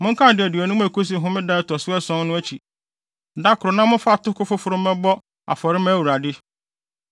Monkan adaduonum a ekosi homeda a ɛto so ason no akyi da koro na momfa atoko foforo mmɛbɔ afɔre mma Awurade.